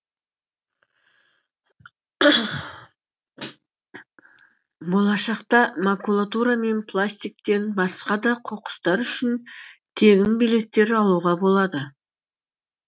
болашақта макулатура мен пластиктен басқа да қоқыстар үшін тегін билеттер алуға болады